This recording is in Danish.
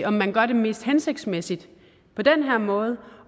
om man gør det mest hensigtsmæssigt på den her måde